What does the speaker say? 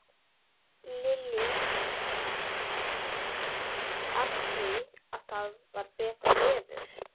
Lillý: Af því að það var betra veður?